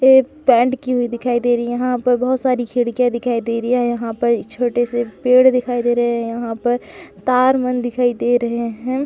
ये पेंट की हुई दिखाई दे रही है यहाँ पे बहुत सारी खिड़किया दिखाई दे रही है यहाँ पे ये छोटे से पेड़ दिखाई दे रहे है यहाँ पर तार मन दिखाई दे रहे है।